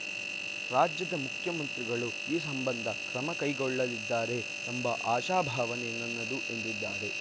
ರಾಜ್ಯದ ಮುಖ್ಯಮಂತ್ರಿಗಳು ಈ ಸಂಬಂಧ ಕ್ರಮ ಕೈಗೊಳ್ಳಲಿದ್ದಾರೆ ಎಂಬ ಆಶಾಭಾವನೆ ನನ್ನದು ಎಂದಿದ್ದಾರೆ